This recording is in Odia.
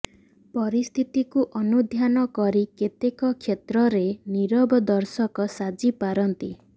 ପରିସ୍ଥିତିକୁ ଅନୁଧ୍ୟାନ କରି କେତେକ କ୍ଷେତ୍ରରେ ନୀରବ ଦର୍ଶକ ସାଜି ପାରନ୍ତି